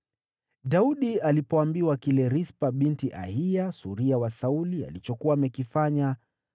Daudi alipoambiwa kile Rispa binti Aiya, suria wa Sauli, alichokuwa amekifanya,